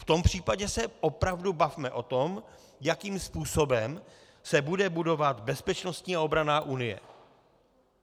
V tom případě se opravdu bavme o tom, jakým způsobem se bude budovat bezpečnostní a obranná unie.